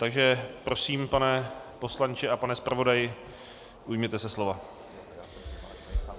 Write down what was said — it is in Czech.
Takže prosím, pane poslanče a pane zpravodaji, ujměte se slova.